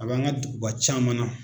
A b'an ka duguba caman na.